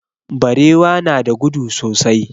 Barewa na da gudu sosai.